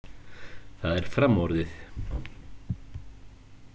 Það er framorðið.